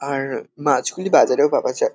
আর র মাছগুলি বাজারেও পাওয়া যায়।